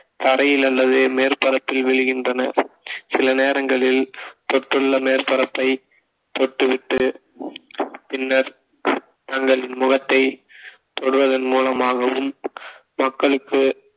தரையில் அல்லது மேற்பரப்பில் விழுகின்றன சில நேரங்களில் தொற்றுள்ள மேற்பரப்பை தொட்டுவிட்டு பின்னர் தங்களின் முகத்தை தொடுவதன் மூலமாகவும் மக்களுக்கு